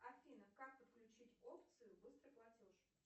афина как подключить опцию быстрый платеж